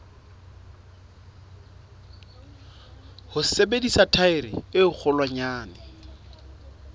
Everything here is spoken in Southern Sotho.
ho sebedisa thaere e kgolwanyane